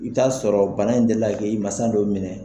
I bɛ t'a sɔrɔ bana in deli la k'i mansa dɔ minɛ.